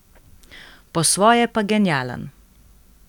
Po svoje pa genialen.